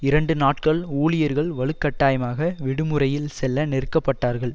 இரண்டு நாட்கள் ஊழியர்கள் வலுக்கட்டாயமாக விடுமுறையில் செல்ல நெருக்கப்பட்டார்கள்